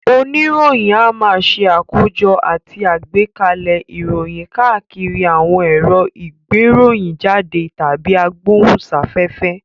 Oníròyìn a máa ṣe àkójọ àti agbẹ́kalẹ̀ ìròyìn káàkiri àwọn èrò ìgbéròyìnjáde tàbí agbóhùnsáfẹ́fẹ́